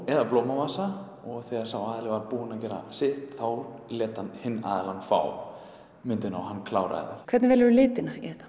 eða blómavasa og þegar sá aðili var búinn að gera sitt þá lét hann hinn aðilann fá myndina og hann kláraði hvernig velurðu litina í þetta